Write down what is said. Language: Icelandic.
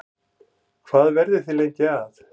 Hvað verðið þið lengi að?